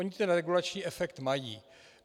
Ony ten regulační efekt mají.